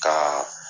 Ka